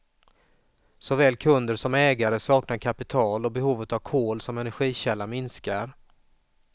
Såväl kunder som ägare saknar kapital och behovet av kol som energikälla minskar.